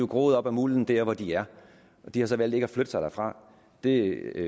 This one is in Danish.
groet op af mulden der hvor de er og de har så valgt ikke at flytte sig derfra det